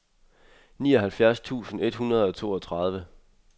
nioghalvfjerds tusind et hundrede og toogtredive